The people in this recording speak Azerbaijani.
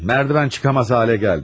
Merdən çıxamaz hala gəldim.